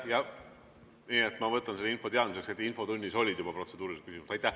Ma võtan selle info teadmiseks, et infotunnis olid juba protseduurilised küsimused.